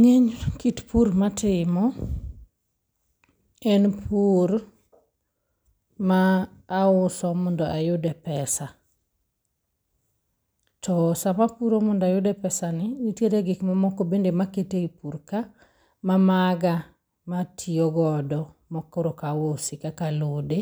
Ng'eny kit pur matimo en pur ma auso mondo ayude pesa, to sama apuro mondo ayude pesani, nitiere gik mamoko ma bende akete e pur ka mamaga ma atiyo godo makoro ok ausi kaka alode